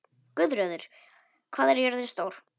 Guðröður, hvað er jörðin stór?